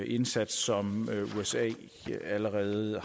indsats som usa allerede